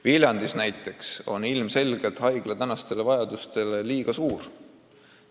Viljandis näiteks on haigla praegusi vajadusi arvestades ilmselgelt liiga suur.